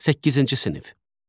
Səkkizinci sinif.